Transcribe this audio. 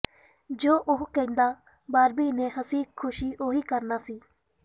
ਜੋ ਉਹ ਕਹਿੰਦਾ ਬਾਰਬੀ ਨੇ ਹੱਸੀ ਖ਼ੁਸ਼ੀ ਉਹੀ ਕਰਨਾ ਸੀ